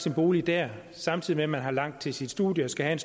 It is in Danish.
en bolig dér samtidig med at man har langt til sit studie og skal have